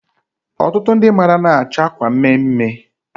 Ọtụtụ ndị mmadụ anaghị achọ akwa mme mme.